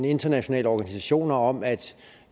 internationale organisationer om at